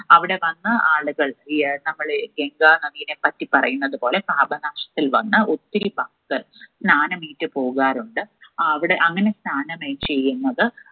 അവിടെ വന്ന് ആളുകൾ ഈ ഏർ നമ്മള് ഇന്ദ്രാ നദിനെപ്പറ്റി പറയുന്നത് പോലെ പാപനാശത്തിൽ വന്ന് ഒത്തിരി ഭക്തർ സ്നാനമയിയ്റ്റ്‌ പോകാറുണ്ട് ആ അവിടെ അങ്ങനെ സ്നാനമെയ് ചെയ്യുന്നത്